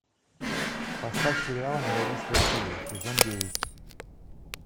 поставь сериал не родись красивой сезон девять